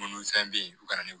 Mun ni fɛn be yen u ka na ni